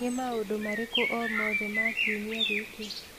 Nĩ maũndũ marĩkũ o mothe ma kiumia gĩkĩ?